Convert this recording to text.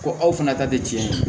Ko aw fana ta tɛ